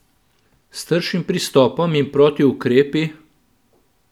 S tršim pristopom in protiukrepi?